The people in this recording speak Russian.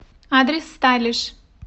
адрес стайлиш